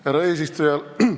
Härra eesistuja!